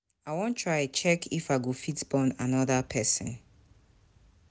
I wan try check if I go fit born another person